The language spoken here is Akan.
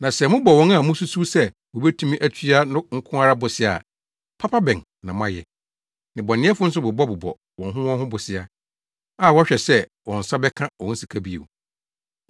Na sɛ mobɔ wɔn a mususuw sɛ wobetumi atua no nko ara bosea a, papa bɛn na moayɛ? Nnebɔneyɛfo nso bobɔbobɔ wɔn ho wɔn ho bosea, a wɔhwɛ sɛ wɔn nsa bɛka wɔn sika bio.